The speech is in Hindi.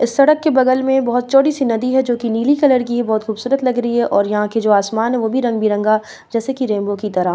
इस सड़क के बगल में बहुत चौड़ी-सी नदी है जो की नीली कलर की है बहुत खूबसूरत लग रही है और यहां की जो आसमान है वो भी रंग-बिरंगा जैसे की रेनबो की तरह।